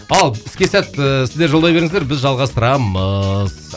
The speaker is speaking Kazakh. ал іске сәт ііі сіздер жолдай беріңіздер біз жалғастырамыз